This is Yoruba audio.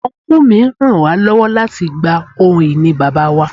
Ọnkú mi ràn wá lọ́wọ́ láti gba ohun ìní Bàbá wa.